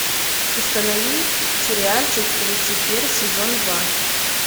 установи сериальчик люцифер сезон два